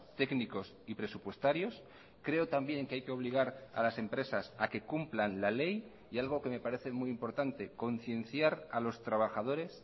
técnicos y presupuestarios creo también que hay que obligar a las empresas a que cumplan la ley y algo que me parece muy importante concienciar a los trabajadores